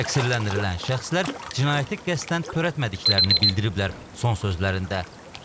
Təqsirləndirilən şəxslər cinayəti qəsdən törətmədiklərini bildiriblər son sözlərində.